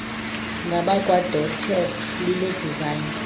ngabakwadotted line design